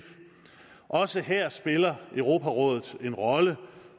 også her spiller europarådet en rolle og